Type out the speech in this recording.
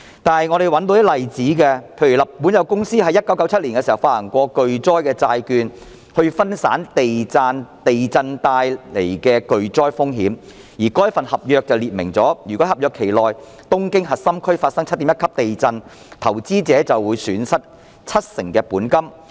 不過，我們找到一些例子，例如日本有公司在1997年發行巨災債券以分散地震帶來的巨災風險，而該份合約訂明，如果東京核心區在合約期內發生 7.1 級地震，投資者便會損失七成本金。